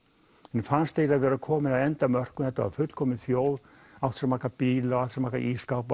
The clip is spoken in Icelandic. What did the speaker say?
henni fannst vera komið að endamörkum þetta var fullkomin þjóð átti svo marga bíla ísskápa